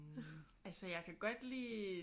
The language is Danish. Altså jeg kan godt lide